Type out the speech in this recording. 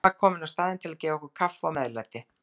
Hún var komin á staðinn til að gefa okkur kaffi og meðlæti.